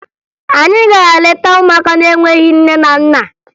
Anyị gara leta ụmụaka na-enweghi nne na nna